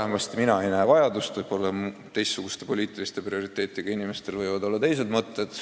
Vähemasti mina ei näe selleks vajadust, võib-olla teistsuguste poliitiliste prioriteetidega inimestel on teised mõtted.